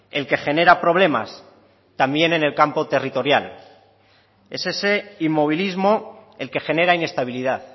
el que genera problemas también en el campo territorial es ese inmovilismo el que genera inestabilidad